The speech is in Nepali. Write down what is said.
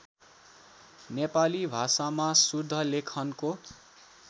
नेपाली भाषामा शुद्धलेखनको